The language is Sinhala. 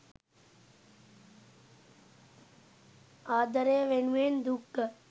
ආදරය වෙනුවෙන් දුක්ගත්